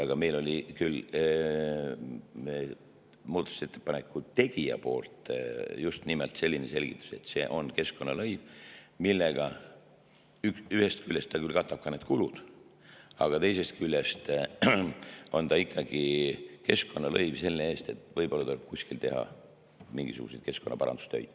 Aga meil kõlas küll muudatusettepaneku tegijalt just nimelt selline selgitus, et see on keskkonnalõiv, millega ühest küljest ta küll katab need kulud, aga teisest küljest on ta ikkagi keskkonnalõiv selle eest, et võib-olla tuleb kuskil teha mingisuguseid keskkonnaparandustöid.